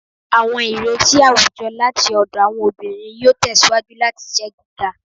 Awọn ireti awujọ lati ọdọ Awọn obinrin yoo tẹsiwaju lati jẹ giga